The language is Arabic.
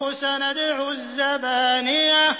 سَنَدْعُ الزَّبَانِيَةَ